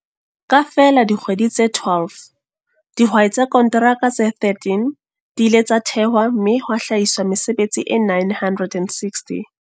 Ka feela dikgwedi tse 12, dihwai tsa konteraka tse 13 di ile tsa thehwa mme ha hlahiswa mesebetsi e 960.